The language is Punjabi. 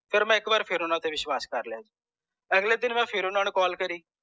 sir ਮੈਂ ਇਕ ਵਾਰ ਫੇਰ ਓਹਨਾ ਤੇ ਵਿਸ਼ਵਾਸ ਕਰ ਲਿਆ ਜੀ ਅਗਲੇ ਦਿਨ ਫੇਰ ਮੈਂ ਓਹਨਾ ਨੂੰ call ਕਰਿ